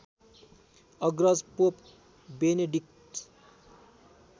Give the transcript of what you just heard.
अग्रज pope Benedict